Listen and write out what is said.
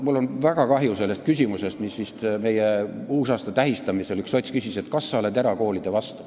Mul on väga kahju, et vist uusaasta tähistamisel üks sots küsis, kas sa oled erakoolide vastu.